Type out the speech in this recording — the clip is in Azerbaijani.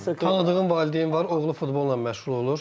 Tanıdığım valideyn var, oğlu futbolla məşğul olur.